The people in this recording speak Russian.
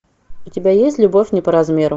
у тебя есть любовь не по размеру